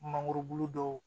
Mangoro bulu dɔw